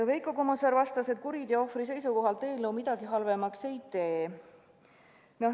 Veiko Kommusaar vastas, et kuriteo ohvri seisukohalt eelnõu midagi halvemaks ei tee.